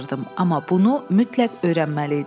Amma bunu mütləq öyrənməli idim.